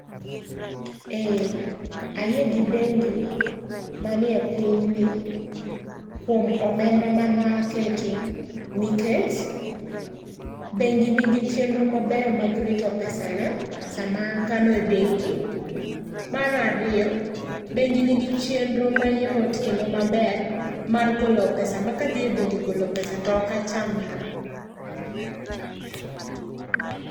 Eh, ayie gi bengi, ma nie pinyni kuom omendana ma aketo, nikech bengi nigi chenro mabeyo mag rito pesana sama akano e bengi. Mar ariyo, bengi nigi chienro mayot kendo maber mar golo pesa ma kadhi e bengi golo pesa to ok achandra.